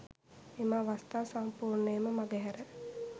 මෙම අවස්ථා සම්පූර්ණයෙන්ම මගහැර